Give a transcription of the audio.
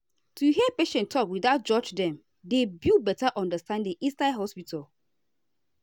to hear patient talk without judge dem dey build better understanding inside hospital.